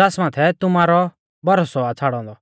ज़ास माथै तुमारै भरोसौ आ छ़ाड़ौ औन्दौ